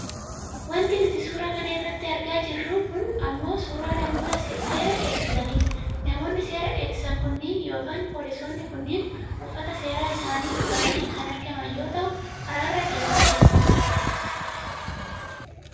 Wanti nuti suura kana irratti argaa jirru kun ammoo suuraa namoota seera eegsisaniiti. Namoonni seera eegsisan kunniin yookiin poolisoonnii kunniin uffata seeraa isaanii uffatanii kan argaman yoo ta'u karaarra deemaa jiru.